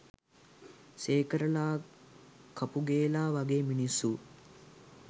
සේකරලා කපුගේලා වගේ මිනිස්සු